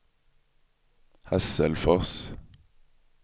Hasselfors